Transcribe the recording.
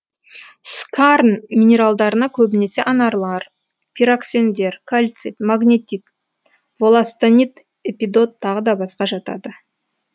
скарн минералдарына көбінесе анарлар пироксендер кальцит магнетит волластонит эпидот тағы басқа жатады